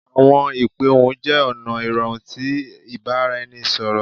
Awọn ipe ohun jẹ ọna irọrun ti ibaraẹnisọrọ